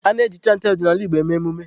A-na eji chantị ọdịnala Igbo eme emume.